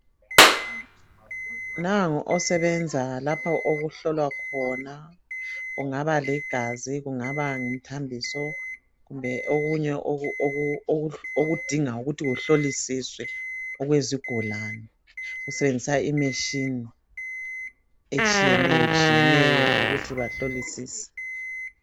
Nangu osebenza lapha okuhlolwa khona kungaba ligazi kungaba ngumthambiso kumbe okunye oku oku okudinga ukuthi kuhlolisiswe okwezigulane. Usebenzisa imachine etshiyeneyo tshiyeneyo ukuthi bahlolisise.